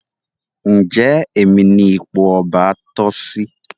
Njé Èmi ní ipò ọba toh sí?